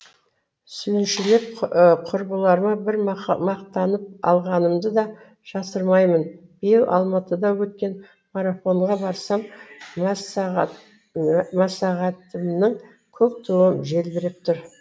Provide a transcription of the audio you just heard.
сүйіншілеп құрбыларыма бір мақтанып алғанымды да жасырмаймын биыл алматыда өткен марафонға барсам массагетімнің көк туы желбіреп тұр